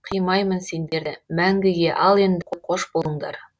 қимаймын сендерді мәңгіге ал енді қош болыңдар